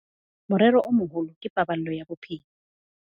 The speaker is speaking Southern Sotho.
Morero o moholo ke paballo ya bophelo.